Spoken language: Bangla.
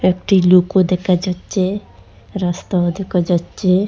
একটি লুকও দেকা যাচ্ছে রাস্তাও দেকা যাচ্ছে।